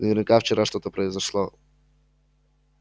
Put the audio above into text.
наверняка вчера что-то произошло